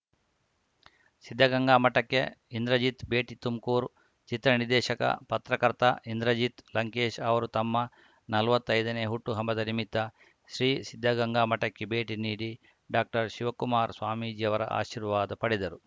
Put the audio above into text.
ಸಿದ್ಧಗಂಗಾ ಮಠಕ್ಕೆ ಇಂದ್ರಜಿತ್‌ ಭೇಟಿ ತುಮಕೂರು ಚಿತ್ರನಿರ್ದೇಶಕ ಪತ್ರಕರ್ತ ಇಂದ್ರಜಿತ್‌ ಲಂಕೇಶ್‌ ಅವರು ತಮ್ಮ ನಲ್ವತ್ತೈದನೇ ಹುಟ್ಟುಹಬ್ಬದ ನಿಮಿತ್ತ ಶ್ರೀಸಿದ್ಧಗಂಗಾ ಮಠಕ್ಕೆ ಭೇಟಿ ನೀಡಿ ಡಾಕ್ಟರ್ಶಿವಕುಮಾರ ಸ್ವಾಮೀಜಿಯವರ ಆಶೀರ್ವಾದ ಪಡೆದರು